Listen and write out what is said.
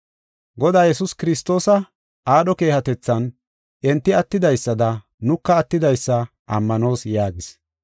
Godaa Yesuus Kiristoosa aadho keehatethan enti attidaysada nuka attidaysa ammanoos” yaagis.